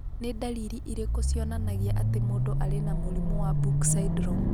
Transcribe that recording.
Nĩ ndariri irĩkũ cionanagia atĩ mũndũ arĩ na mũrimũ wa Book syndrome?